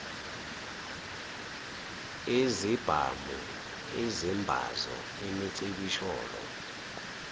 izibhamu izimbazo imicibisholo